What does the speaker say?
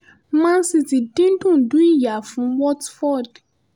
man city dín dundú ìyá fún watford